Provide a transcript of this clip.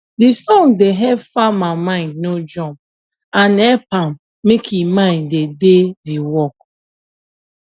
de song da help farma mind no jump and hep am make e mind da d work